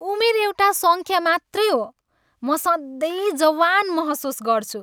उमेर एउटा सङ्ख्या मात्रै हो। म सधैँ जवान महसुस गर्छु।